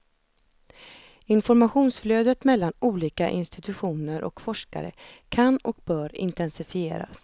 Informationsflödet mellan olika institutioner och forskare kan och bör intensifieras.